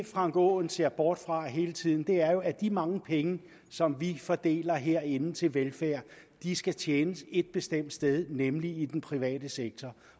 frank aaen ser bort fra hele tiden er jo at de mange penge som vi fordeler herinde til velfærd skal tjenes et bestemt sted nemlig i den private sektor